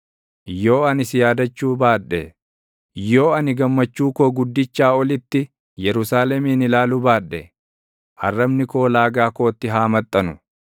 Yoo ani si yaadachuu baadhe, yoo ani gammachuu koo guddichaa olitti Yerusaalemin ilaaluu baadhe, arrabni koo laagaa kootti haa maxxanu.